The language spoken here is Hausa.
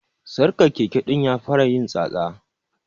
Sarkar Keke din ya fara yin tsatsa.